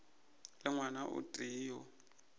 le ngwana o tee yo